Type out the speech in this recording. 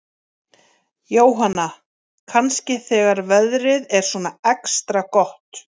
Jóhanna: Kannski þegar veðrið er svona extra gott?